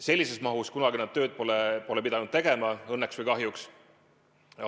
Sellises mahus nad kunagi tööd pole pidanud tegema, õnneks või kahjuks.